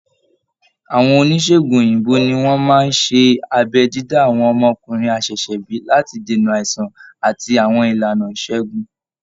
Àwọn oníṣègùn òyìnbó ni wọ́n máa ń ṣe abẹ́ dídá àwọn ọmọkùnrin àṣẹ̀ṣẹ̀bí láti dènà àìsàn àti àwọn ìlànà ìṣègùn